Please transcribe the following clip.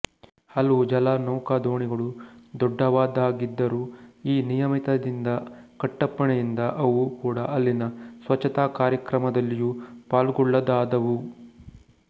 ಹಲವು ಜಲ ನೌಕಾ ದೋಣಿಗಳು ದೊಡ್ಡದವಾಗಿದ್ದರೂ ಈ ನಿಯಮಿತದಿಂದ ಕಟ್ಟಪ್ಪಣೆಯಿಂದ ಅವೂ ಕೂಡಾ ಅಲ್ಲಿನ ಸ್ವಚ್ಛತಾ ಕಾರ್ಯಕ್ರಮದಲ್ಲಿಯೂ ಪಾಲ್ಗೊಳ್ಳದಾದವು